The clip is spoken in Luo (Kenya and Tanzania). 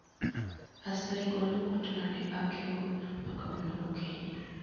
Asayi'gol okot mane akeo ma kawuono gokinyi.